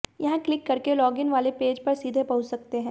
यहां क्लिक करके log in वाले पेज पर सीधे पहुंच सकते हैं